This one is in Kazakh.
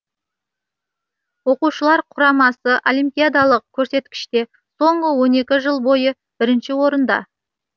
оқушылар құрамасы олимпиадалық көрсеткіште соңғы он екі жыл бойы бірінші орында